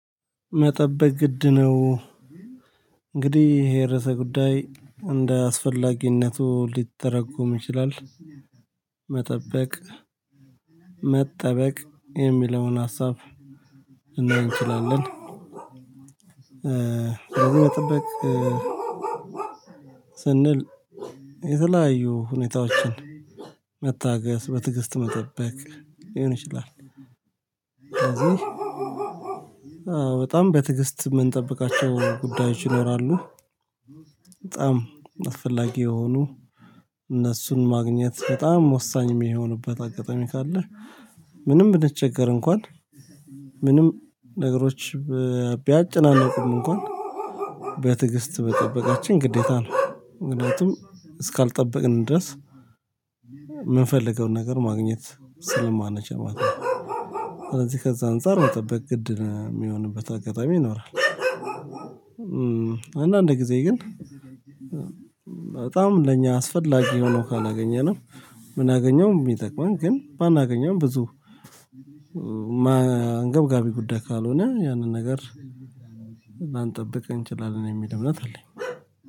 መጠበቅ ግድ ነው። እንግዲህ ይሄ ርዕሰ ጉዳይ እንደ አስፈላጊነቱ ሊተረጎም ይችላል። መጠበቅ መጠበቅ የሚለውን ሀሳብ ልንል እንችላለን። መጠበቅ ስንል የተለያዩ ሁኔታዎችን መታገስ በትዕግስት መጠበቅ ሊሆን ይችላል። በጣም በትግስት የምንጠብቃቸው ጉዳዮች ይኖራሉ። በጣም አስፈላጊ የሆኑ እነሱን ማግኘት በጣም ወሳኝ የሚሆንበት አጋጣሚ ካለ ምንም ብንቸገር እንኳን ምንም ነገሮች ቢያጨናንቁም እንኳን በትግስት መጠበቃችን ግዴታ ነው። ምክንያቱም እስካልጠበቅን ድረስ የምንፈልገውን ነገር ማግኘት ስለማንችል ማለት ነው። ስለዚህ ከዛ አንፃር መጠበቅ ግድ የሚሆንበት አጋጣሚ ይኖራል። አንዳንድ ጊዜ ግን በጣም ለኛ አስፈላጊ ሆኖ ካላገኘንም ምናገኘው ቢጠቅመን ግን ባናገኘም ብዙ አንገብገቢ ጉዳይ ካልሆነ ያንን ነገር ላንጠብቅ እንችላለን የሚል እምነት አለኝ።